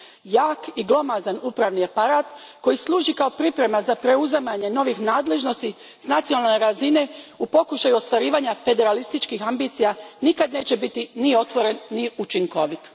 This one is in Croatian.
Jak i glomazan upravni aparat koji služi kao priprema za preuzimanje novih nadležnosti s nacionalne razine u pokušaju ostvarivanja federalističkih ambicija nikad neće biti ni otvoren ni učinkovit.